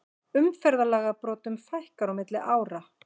Umferðarlagabrotum fækkar á milli ára